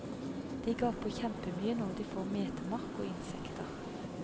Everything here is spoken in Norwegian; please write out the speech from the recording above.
De gaper kjempemye når de får metemark og insekter.